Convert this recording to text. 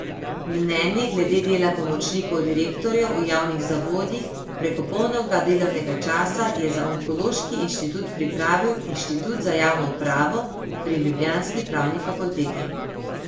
Mnenje glede dela pomočnikov direktorjev v javnih zavodih preko polnega delovnega časa je za onkološki inštitut pripravil inštitut za javno upravo pri ljubljanski pravni fakulteti.